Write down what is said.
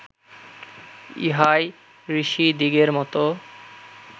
ইহাই ঋষিদিগের মত